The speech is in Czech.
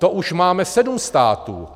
To už máme sedm států.